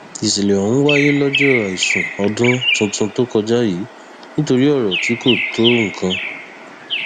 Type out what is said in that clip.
ìṣẹlẹ ọhún wáyé lọjọ àìsùn ọdún tuntun tó kọjá yìí nítorí ọrọ tí kò tó nǹkan